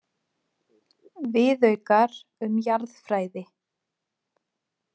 Viðaukar um jarðfræði.